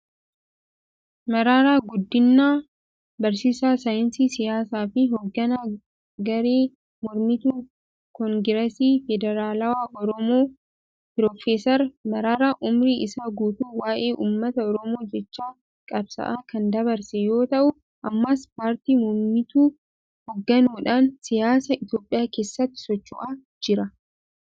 Mararaa Guddinaa (A.L.A 1956-) barsiisaa saayinsii siyaasaa fi hoogganaa garee mormituu Koongireesii Federaalawaa Oromoo KFOti. Pirofooser Mararaan umurii isaa guutuu waa'ee ummata Oromoof jecha qabsaa'aa kan dabarse yoo ta'u ammas paartii momituu hoogganuudhan siyaasa Itoophiyaa keessatti socho'aa jira.